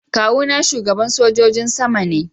Kawu na shugaban sojin sama ne.